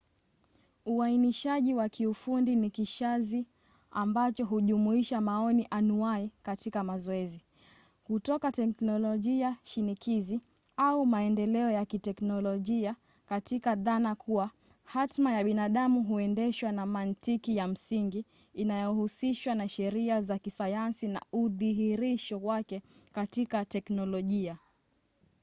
uainishaji wa kiufundi ni kishazi ambacho hujumuisha maoni anuai katika mazoezi kutoka teknolojia shinikizi au maendeleo ya kiteknolojia katika dhana kuwa hatma ya binadamu huendeshwa na mantiki ya msingi inayohusishwa na sheria za kisayansi na udhihirisho wake katika teknolojia